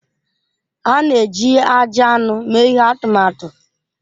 A na-eji ajị anụ mee ihe atụmatụ.